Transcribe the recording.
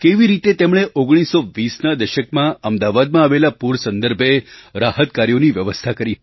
કેવી રીતે તેમણે 1920ના દશકમાં અમદાવાદમાં આવેલા પૂર સંદર્ભે રાહત કાર્યોની વ્યવસ્થા કરી